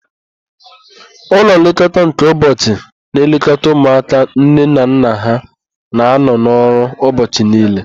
Ụlọ nlekọta nke ụbọchị na-elekọta ụmụaka nne na nna ha na-anọ n'ọrụ ụbọchị niile.